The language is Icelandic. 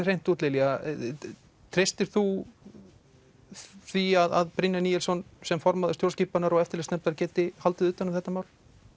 hreint út Lilja treystir þú því að Brynjar Níelsson sem formaður stjórnskipunar og eftirlitsnefndar geti haldið utan um þetta mál